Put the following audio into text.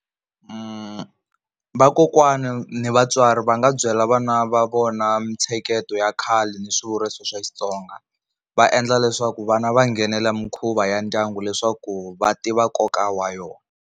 Vakokwana ni vatswari va nga byela vana va vona mitsheketo ya khale ni swivuriso xa Xitsonga, va endla leswaku vana va nghenela mikhuva ya ndyangu leswaku va tiva nkoka wa yona.